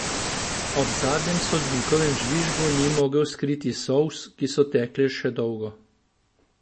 Ob zadnjem sodnikovem žvižgu ni mogel skriti solz, ki so tekle še dolgo.